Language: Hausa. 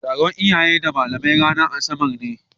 Taron iyaye da malamai ranar asabarne.